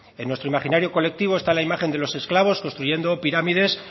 en nuestro imaginario colectivo está la imagen de los esclavos construyendo pirámides